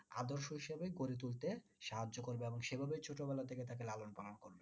আদর্শ হিসাবে গড়ে তুলতে সাহায্য করবে এবং সে ভাবেই ছোটো বেলা থেকে তাকে লালন পালন করবে।